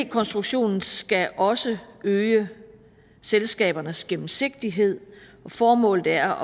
konstruktionen skal også øge selskabernes gennemsigtighed formålet er